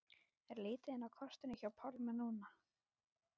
Er lítið inn á kortinu hjá Pálma núna?